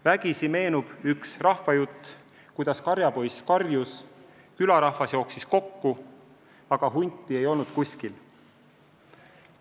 Vägisi meenub üks rahvajutt, kuidas karjapoiss karjus, et hunt tuleb, külarahvas jooksis kokku, aga hunti ei olnud kuskil.